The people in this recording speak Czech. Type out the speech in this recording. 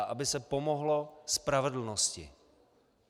A aby se pomohlo spravedlnosti.